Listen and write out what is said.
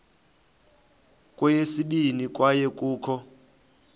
kweyesibini kwaye kukho